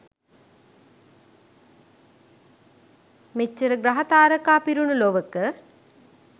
මෙච්චර ග්‍රහ තාරකා පිරුණු ලොවක